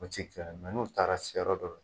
O ti kɛ n'u taara se yɔrɔ dɔrɔ.